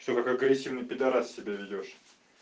что как агрессивный пидорас себя ведёшь